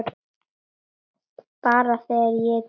Bara þegar ég er tilbúin